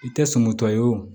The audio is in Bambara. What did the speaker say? I tɛ sɔn mutɔ ye o